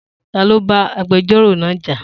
Ta ló bá agbẹjọ́rọ̀ náà jà?